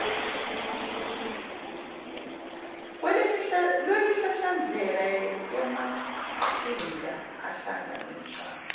lwemihlahlandlela yamaqhinga ahlanganisa